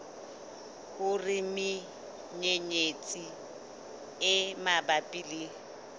hore menyenyetsi e mabapi le